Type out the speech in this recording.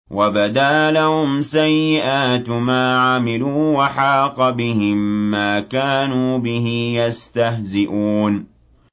وَبَدَا لَهُمْ سَيِّئَاتُ مَا عَمِلُوا وَحَاقَ بِهِم مَّا كَانُوا بِهِ يَسْتَهْزِئُونَ